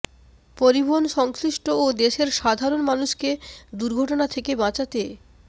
পরিবহন সংশ্লিষ্ট ও দেশের সাধারণ মানুষকে দুর্ঘটনা থেকে বাঁচাতে